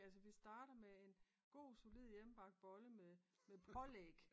Ja så vi starter med en god solid hjemmebagt bolle med med pålæg